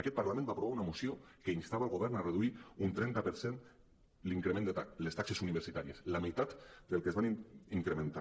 aquest parla·ment va aprovar una moció que instava el govern a reduir un trenta per cent les taxes universitàries la meitat del que es van incrementar